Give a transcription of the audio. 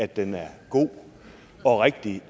den er god og rigtig